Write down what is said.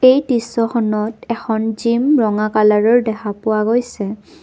এই দৃশ্যখনত এখন জিম ৰঙা কালাৰৰ দেখা পোৱা গৈছে।